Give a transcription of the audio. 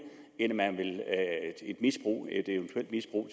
end at man vil et eventuelt misbrug